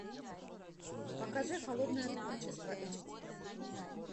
покажи холодное творчество эйч ди